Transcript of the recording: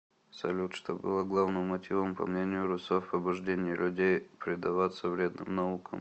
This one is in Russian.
салют что было главным мотивом по мнению руссо в побуждении людей предаваться вредным наукам